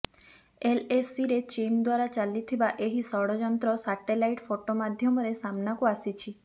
ଏଲଏସିରେ ଚୀନ ଦ୍ୱାରା ଚାଲିଥିବା ଏହି ଷଡଯନ୍ତ୍ର ସାଟେଲାଇଟ ଫଟୋ ମାଧ୍ୟମରେ ସାମ୍ନାକୁ ଆସିଛି